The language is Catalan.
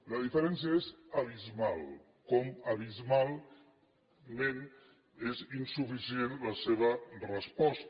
la diferència és abismal com abismalment és insuficient la seva resposta